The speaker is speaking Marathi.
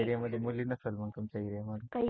ते बोलले मुली नसेल मग तुमच्या area मध्ये